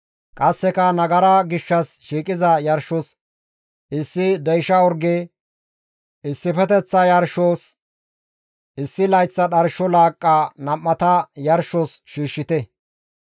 Qasseka nagara gishshas shiiqiza yarshos issi deysha orge, issifeteththa yarshos issi layth dharsho laaqqa nam7ata yarshos shiishshite.